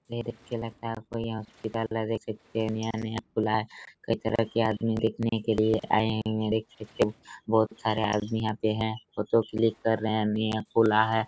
नई देख के लगता हैं आप को यहाँ हॉस्पिटल है देख सकते हैं नया-नया खुला है कई तरह के आदमी देखने के लिए आए हुए हैं देख सकते हैं बहोत सारे आदमी यहाँ पे हैं फोटो क्लिक कर रहे हैं निया खुला है ।